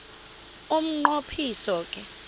umnqo phiso ke